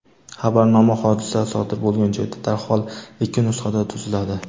Xabarnoma hodisa sodir bo‘lgan joyda darhol ikki nusxada tuziladi.